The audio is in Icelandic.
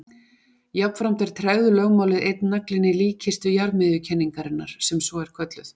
Jafnframt er tregðulögmálið einn naglinn í líkkistu jarðmiðjukenningarinnar sem svo er kölluð.